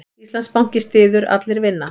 Íslandsbanki styður Allir vinna